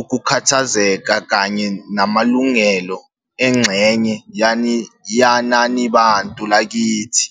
ukukhathazeka kanye namalungelo engxenye yenanibantu lakithi.